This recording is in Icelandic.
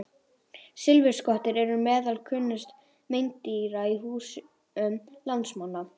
Silfurskottur eru meðal kunnustu meindýra í húsum landsmanna.